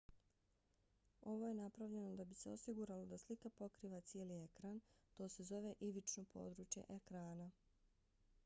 ovo je napravljeno da bi se osiguralo da slika pokriva cijeli ekran. to se zove ivično područje ekrana